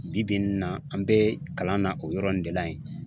Bi bi in na an bɛ kalan na o yɔrɔ in de la yen.